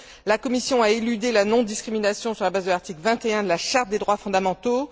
La Commission a éludé la non discrimination sur la base de l'article 21 de la Charte des droits fondamentaux